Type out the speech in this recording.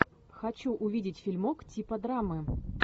хочу увидеть фильмок типа драмы